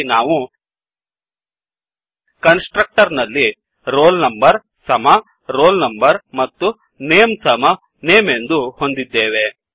ಹಾಗಾಗಿ ನಾವು constructor ನಲ್ಲಿ160 roll number ಸಮ roll number ಮತ್ತು ನೇಮ್ ಸಮ ನೇಮ್ ಎಂದು ಹೊಂದಿದ್ದೇವೆ